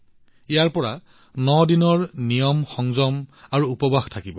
ইয়াৰ পিছৰ পৰা ন দিনৰ নিয়মসংযম আৰু উপবাস থাকিব